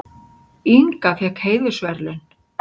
Inga fékk heiðursverðlaun